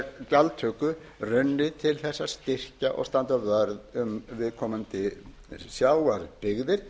gjaldtöku runnið til að styrkja og standa vörð um viðkomandi sjávarbyggðir